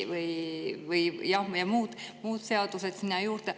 Muud seadused sinna juurde.